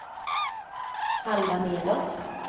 halva nedåt